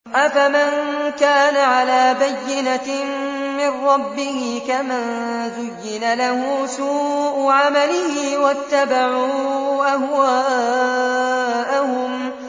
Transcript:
أَفَمَن كَانَ عَلَىٰ بَيِّنَةٍ مِّن رَّبِّهِ كَمَن زُيِّنَ لَهُ سُوءُ عَمَلِهِ وَاتَّبَعُوا أَهْوَاءَهُم